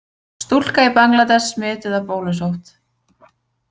Stúlka í Bangladess smituð af bólusótt.